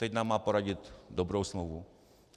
Teď nám má poradit dobrou smlouvu.